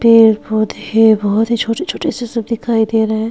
पेड़-पौधे बहोत ही छोटे-छोटे से सब दिखायी दे रहे हैं।